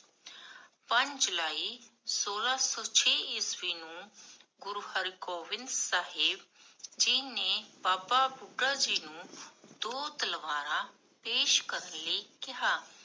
ਪੰਜ ਜੁਲਾਈ ਸੋਲਾਹ ਸੋ ਛੇ ਈਸਵੀ ਨੂੰ ਗੁਰੂ ਹਰ ਗੋਵਿੰਦ ਸਾਹਿਬ ਜੀ ਨੇ ਬਾਬਾ ਬੁਢਾ ਜੀ ਨੂ, ਦੋ ਤਲਵਾਰਾ ਪੇਸ਼ ਕਰਨ ਲਈ ਕੇਹਾ